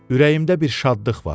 Ürəyimdə bir şadlıq var.